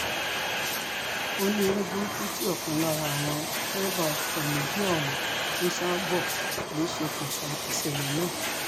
ó ní eré burúkú tí ọ̀kan lára àwọn dẹ́rẹ́bà ọkọ méjì ọ̀hún ń sá bọ̀ lọ ṣokùnfà ìṣẹ̀lẹ̀ náà